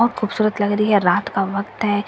बहुत खूबसूरत लग रही है रात का वक्त है यहां पर बहुत --